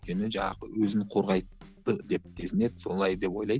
өйткені жаңағы өзін қорғайды деп сезінеді солай деп ойлайды